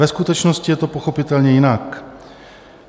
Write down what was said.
Ve skutečnosti je to pochopitelně jinak.